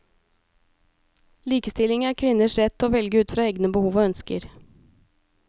Likestilling er kvinners rett til å velge ut fra egne behov og ønsker.